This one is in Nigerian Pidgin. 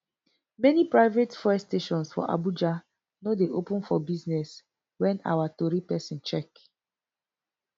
many private fuel stations for abuja no dey open for business wen our tori pesin check